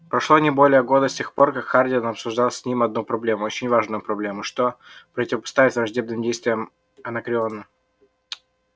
прошло не более года с тех пор как хардин обсуждал с ним одну проблему очень важную проблему что противопоставить враждебным действиям анакреона